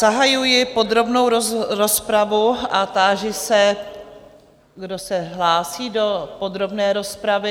Zahajuji podrobnou rozpravu a táži se, kdo se hlásí do podrobné rozpravy?